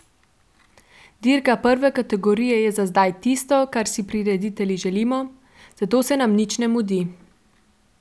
Dirka prve kategorije je za zdaj tisto, kar si prireditelji želimo, zato se nam nič ne mudi.